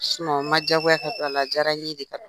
n ma diyagoya ka don a la a diyara n ye de